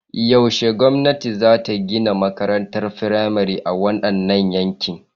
Yaushe gwamnati za ta gina makarantar firamare a wadannan yankin?